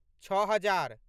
छओ हजार